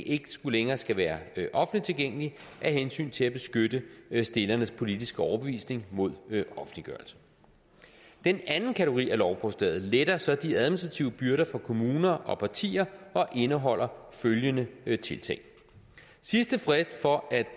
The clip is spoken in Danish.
ikke længere skal være offentligt tilgængelige af hensyn til at beskytte stillernes politiske overbevisning mod offentliggørelse den anden kategori af lovforslaget letter så de administrative byrder for kommuner og partier og indeholder følgende tiltag sidste frist for at